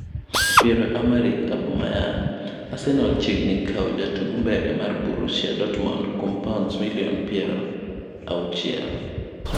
Pierre-Emerick Aubameyang:Arsenal chiegni kawo jatug mbele mar Borssia Dortmund kuom paunds milion piero auchiel.